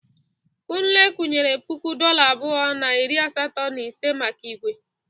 Kunle kwunyere puku dọla abụọ na iri asatọ na ise maka igwe.